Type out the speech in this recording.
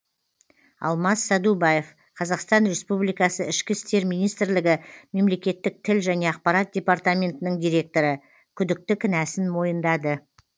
алмас сәдубаев қазақстан республикасы ішкі істер министрлігі мемлекеттік тіл және ақпарат департаментінің директоры күдікті кінәсін мойындады